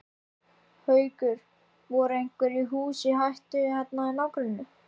Haukur: Voru einhver hús í hættu hérna í nágrenninu?